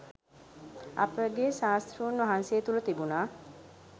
අපගේ ශාස්තෘන් වහන්සේ තුළ තිබුණා